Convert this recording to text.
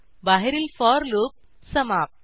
बाहेरील for loop समाप्त